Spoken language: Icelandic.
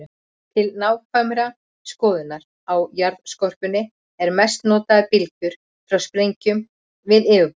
Til nákvæmari skoðunar á jarðskorpunni eru mest notaðar bylgjur frá sprengingum við yfirborð.